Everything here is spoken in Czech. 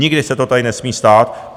Nikdy se to tady nesmí stát.